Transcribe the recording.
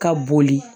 Ka boli